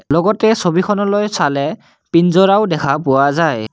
লগতে ছবিখনলৈ চালে পিঞ্জৰাও দেখা পোৱা যায়।